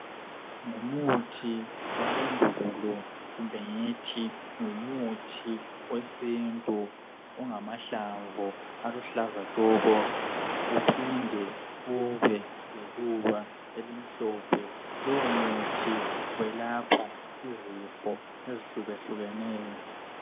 Ngumuthi wasendulo kumbe ngithi ngumuthi wesintu ongamahlamvu aluhlaza tshoko! Uphinde ube leluba elimhlophe. Lowomuthi welapha izifo ezehlukehlukeneyo.